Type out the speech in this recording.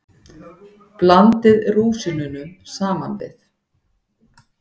Blandið rúsínunum saman við.